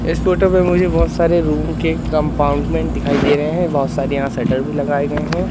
इस फोटो में मुझे बहुत सारे रूम के कंपार्टमेंट दिखाई दे रहे हैं बहुत सारे यहां शटर भी लगाए गए हैं।